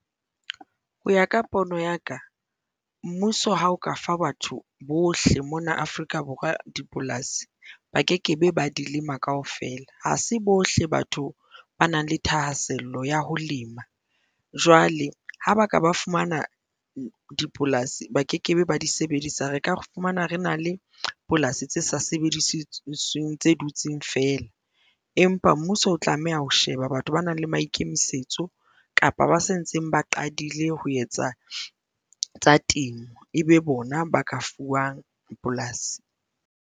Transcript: Ho ya ka pono ya ka mmuso ha o ka fa batho bohle mona Afrika Borwa dipolasi ba ke ke be ba dilema kaofela ha se bohle batho ba nang le thahasello ya ho lema jwale ha ba ka ba fumana dipolasi ba ke ke be ba di sebedisa. Re ka re fumana re na le polasi tse sa tse dutseng feela empa ha mmuso o tlameha ho sheba batho ba nang le maikemisetso kapa ba sa ntseng ba qadile ho etsa tsa temo, e be bona ba ka fuwang polasi.